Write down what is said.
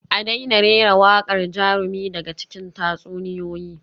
A daina rera waƙar jarumi daga cikin tatsuniyoyi